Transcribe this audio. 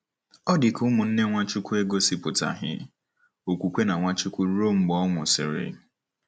Ọ dị ka ụmụnne Nwachukwu egosipụtaghị okwukwe na Nwachukwu ruo mgbe ọ nwụsịrị.